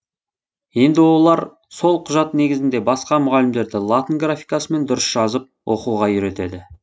енді олар сол құжат негізінде басқа мұғалімдерді латын графикасымен дұрыс жазып оқуға үйретеді